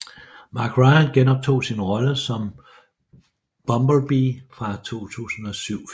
Mark Ryan genoptog sin rolle som Bumblebee fra 2007 filmen